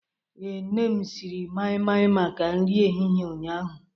Ee, nne m siri mai-mai maka nri ehihie ụnyahụ.